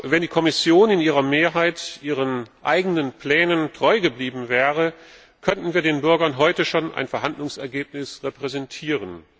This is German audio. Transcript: Wenn die Kommission in ihrer Mehrheit ihren eigenen Plänen treu geblieben wäre, könnten wir den Bürgern heute schon ein Verhandlungsergebnis präsentieren.